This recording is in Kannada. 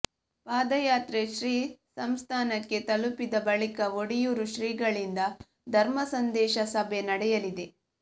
ಪಾದಯಾತ್ರೆ ಶ್ರೀ ಸಂಸ್ಥಾನಕ್ಕೆ ತಲುಪಿದ ಬಳಿಕ ಒಡಿಯೂರು ಶ್ರೀಗಳಿಂದ ಧರ್ಮ ಸಂದೇಶ ಸಭೆ ನಡೆಯಲಿದೆ